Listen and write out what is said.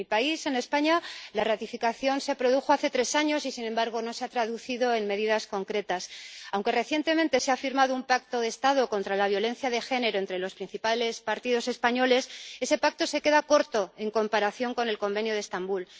En mi país, en España, la ratificación se produjo hace tres años y, sin embargo, no se ha traducido en medidas concretas. Aunque recientemente se ha firmado un pacto de Estado contra la violencia de género entre los principales partidos españoles, ese pacto se queda corto en comparación con el Convenio de Estambul.